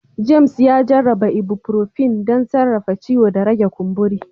James, ya dogara da ibuprofen don sarrafa ciwo da rage kumburi